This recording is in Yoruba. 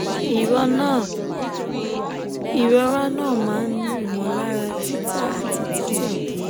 ìrora na ma n ni imolara tita ati tite die